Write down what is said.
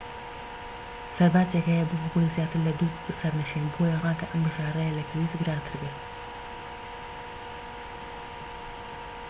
سەرباجێک هەیە بۆ هەبوونی زیاتر لە 2 سەرنشین بۆیە ڕەنگە ئەم بژاردەیە لە پێویست گرانتر بێت